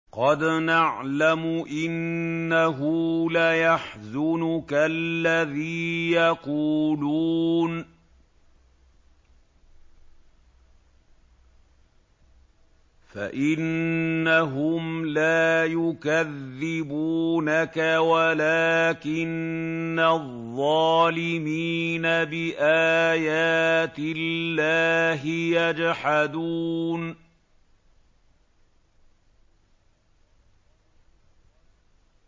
قَدْ نَعْلَمُ إِنَّهُ لَيَحْزُنُكَ الَّذِي يَقُولُونَ ۖ فَإِنَّهُمْ لَا يُكَذِّبُونَكَ وَلَٰكِنَّ الظَّالِمِينَ بِآيَاتِ اللَّهِ يَجْحَدُونَ